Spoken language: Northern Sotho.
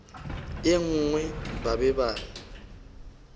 ye nngwe ba be ba